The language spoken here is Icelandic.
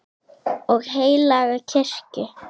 og heilaga kirkju